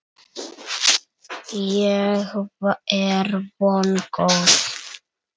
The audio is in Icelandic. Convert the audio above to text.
Ég er vongóð.